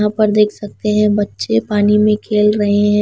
यहाँ पर देख सकते हैं बच्चे पानी में खेल रहे हैं।